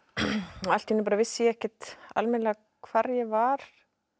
og allt í einu vissi ég ekkert almennilega hvar ég var